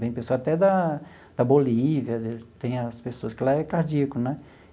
Vem pessoa até da da Bolívia as vezes, tem as pessoas que lá é cardíaco, né?